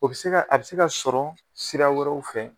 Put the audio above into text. O bɛ se a bɛ se ka sɔrɔ sira wɛrɛw fɛ.